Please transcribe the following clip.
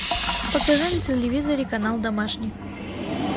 покажи на телевизоре канал домашний